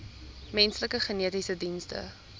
menslike genetiese dienste